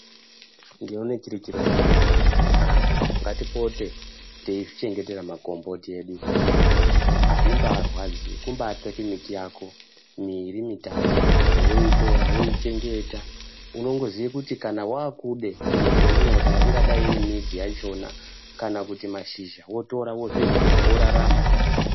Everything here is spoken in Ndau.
Ndinoone chiri chiro chakanaka kuti antu ngatipote teizvichengetere makomboti edu isusu. Azvimbarwadzi kumba tsvake miti yako miiri mitatu woitora woichengeta unongoziye kuti kana wakude chiro chaunoda ingadai iri midzi yakhona kana kuti mashizha wotora wozviryira worarama.